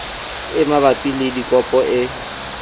e mabapi le dikopo e